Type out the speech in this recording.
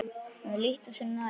Maður líttu þér nær!